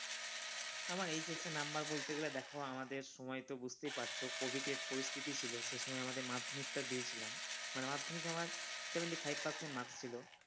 আমার HS এর number গেলে তো দেখো আমাদের সময় তো বুঝতেই পারছ covid এর পরিস্থিতি ছিল সে সময় আমাদের মাধ্যমিক টা দিয়েছিলাম মানে মাধ্যমিকে আমার seventy-five percent marks ছিল।